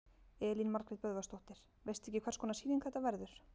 Elín Margrét Böðvarsdóttir: Veistu ekki hvers konar sýning þetta verður?